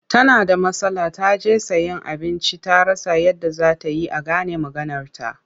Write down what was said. Tana da matsala ta je sayen abinci ta rasa yadda za ta yi a gane maganarta.